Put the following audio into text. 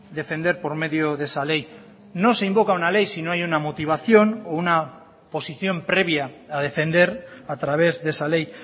defender por medio de esa ley no se invoca una ley si no hay una motivación o una posición previa a defender a través de esa ley